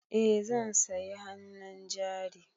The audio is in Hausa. Eh zan sayi hannun jari.